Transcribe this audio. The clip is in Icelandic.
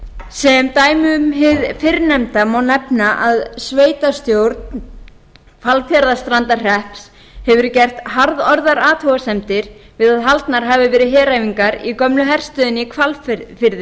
sem dæmi um hið fyrrnefnda má nefna að sveitarstjórn hvalfjarðarstrandarhrepps hefur gert harðorðar athugasemdir við að haldnar hafa verið heræfingar í gömlu herstöðinni í